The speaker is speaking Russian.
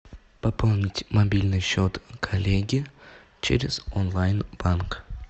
пополнить мобильный счет коллеги через онлайн банк